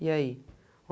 E aí?